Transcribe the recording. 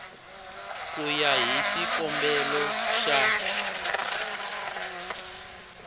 ku ya hi xikombelo xa